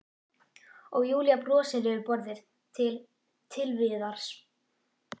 Og Júlía brosir yfir borðið til- Til Viðars.